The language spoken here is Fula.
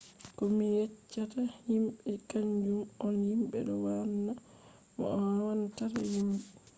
ko mi yeccata himbe kanjum on himbe do wanna ma no a wannata himbe